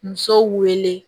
Musow wele